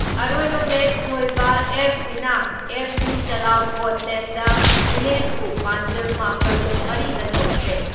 ꯑꯔꯣꯏꯕ ꯃꯦꯆ ꯊꯣꯏꯕ ꯑꯦꯐ.ꯁꯤꯅ ꯑꯦꯐ.ꯁꯤ ꯆꯂꯥꯎ ꯀꯣꯠꯂꯦꯟꯗ ꯚꯤꯂꯦꯖꯕꯨ ꯄꯥꯟꯖꯜ ꯃꯥꯄꯜ ꯃꯔꯤꯗ ꯊꯣꯏꯈ꯭ꯔꯦ ꯫